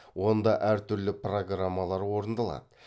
онда әр түрлі программалар орындалады